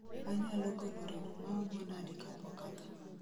Anyalo golo remo maomo nade kapok atho